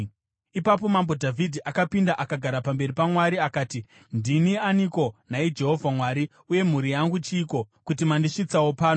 Ipapo mambo Dhavhidhi akapinda akagara pamberi paMwari akati: “Ndini aniko, nhai Jehovha Mwari, uye mhuri yangu chiiko, kuti mandisvitsawo pano?